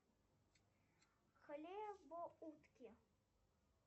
хлебоутки